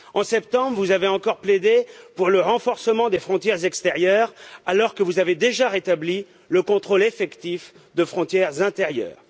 En septembre, vous avez encore plaidé pour le renforcement des frontières extérieures, alors que vous avez déjà rétabli le contrôle effectif de frontières intérieures.